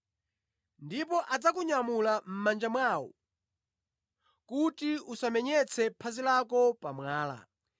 ndipo adzakunyamula ndi manja awo, kuti phazi lako lisagunde pa mwala.”